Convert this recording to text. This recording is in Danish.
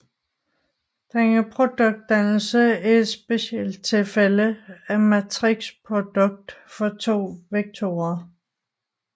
Denne produktdannelse er et specialtilfælde af matrixprodukt for to vektorer